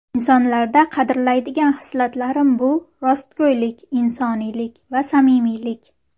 Insonlarda qadrlaydigan hislatlarim bu - rostgo‘ylik, insoniylik va samimiylik.